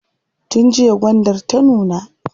Tun jiya gwandar ta nuna.